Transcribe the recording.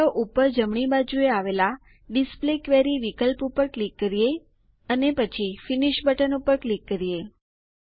ચાલો ઉપર જમણી બાજુએ આવેલાં ડિસ્પ્લે ક્વેરી વિકલ્પ ઉપર ક્લિક કરીએ અને પછી ફિનિશ બટન પર ક્લિક કરીએ